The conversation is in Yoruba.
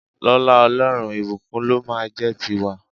Lọ́lá Ọlọ́run, ìbùkún ló máa a jẹ́ ti wa.